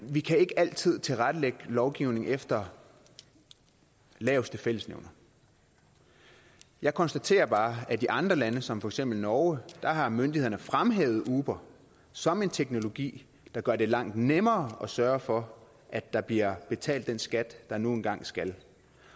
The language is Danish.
vi kan ikke altid tilrettelægge lovgivning efter laveste fællesnævner jeg konstaterer bare at i andre lande som for eksempel norge har myndighederne fremhævet uber som en teknologi der gør det langt nemmere at sørge for at der bliver betalt den skat der nu engang skal